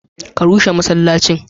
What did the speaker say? Ka rushe masallacin!